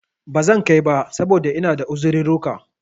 Bazan kai ba, saboda ina da uzirurruka